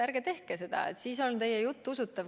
Ärge tehke seda, siis on teie jutt usutav.